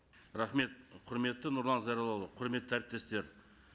рахмет құрметті нұрлан зайроллаұлы құрметті әріптестер